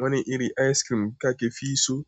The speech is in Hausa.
Wani iri ice cream kake fi so?